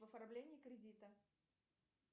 в оформлении кредита